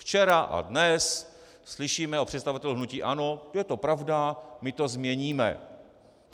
Včera a dnes slyšíme od představitelů hnutí ANO, že je to pravda, my to změníme.